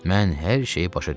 Mən hər şeyi başa düşdüm.